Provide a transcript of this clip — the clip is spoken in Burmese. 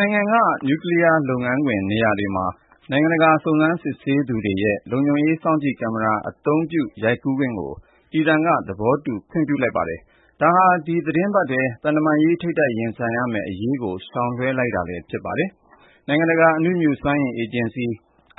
နိုင်ငံက နျူကလီးယားလုပ်ငန်းခွင် နေရာတွေမှာ နိုင်ငံတကာ စုံစမ်းစစ်ဆေးသူတွေရဲ့ လုံခြုံရေး စောင့်ကြည့်ကင်မရာ အသုံးပြု ရိုက်ကူးခွင့်ကို အီရန်က သဘောတူ ခွင့်ပြုလိုက်ပါတယ်။ ဒါဟာ ဒီသီတင်းပတ်ထဲ သံတမန်ရေး ထိပ်တိုက်ရင်ဆိုင်ရမယ့်အရေးကို ရှောင်လွှဲလိုက်တာလည်း ဖြစ်ပါတယ်။ နိုင်ငံတကာအနုမြူစွမ်းအင် အေဂျင်စီ